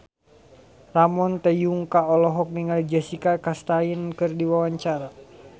Ramon T. Yungka olohok ningali Jessica Chastain keur diwawancara